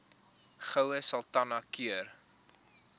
goue sultana keur